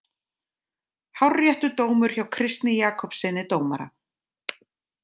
Hárréttur dómur hjá Kristni Jakobssyni dómara.